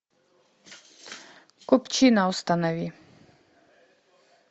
купчино установи